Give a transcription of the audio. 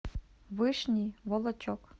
вышний волочек